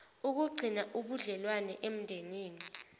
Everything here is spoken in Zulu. ukugcina ubudlelwano emndenini